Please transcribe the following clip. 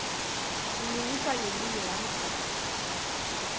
lilungiswa ngelinye yamgabha